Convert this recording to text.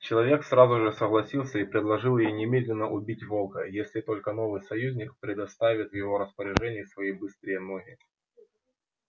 человек сразу же согласился и предложил ей немедленно убить волка если только новый союзник предоставит в его распоряжение свои быстрые ноги